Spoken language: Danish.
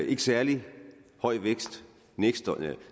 ikke særlig høj vækst